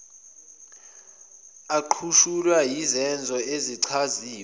aqutshulwa yizenzo ezichaziwe